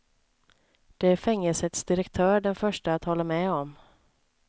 Det är fängelsets direktör den förste att hålla med om.